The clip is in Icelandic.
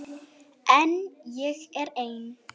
En ég er ein.